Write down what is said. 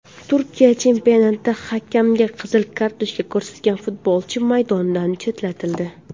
Turkiya chempionatida hakamga qizil kartochka ko‘rsatgan futbolchi maydondan chetlatildi.